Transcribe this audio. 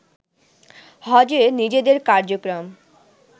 হজে নিজেদের কার্যক্রম